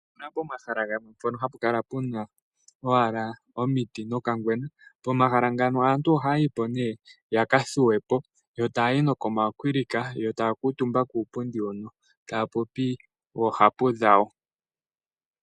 Opuna pomahala gamwe hapu kala owala puna omiti nokangwena. Pomahala ngano aantu ohaya yipo nee yakathuwepo yo taya yi nokomakwilika yo taya kuutumba nokuupundi hono yo taya popi oohapu dhawo.